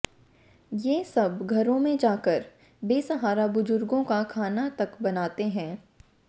ये सब घरों में जाकर बेसहारा बुजुर्गों का खाना तक बनाते हैं